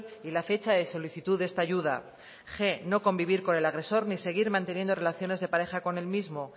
y la fecha de solicitud de esta ayuda g no convivir con el agresor ni seguir manteniendo relaciones de pareja con el mismo